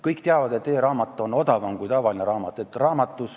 Kõik teavad, et e-raamat on odavam kui tavaline raamat.